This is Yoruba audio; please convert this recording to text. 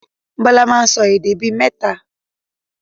Bọlá máa ń sọ èdè bí mẹ́ta